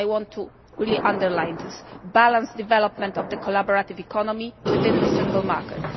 I want to really underline this a balanced development of the collaborative economy within the single market.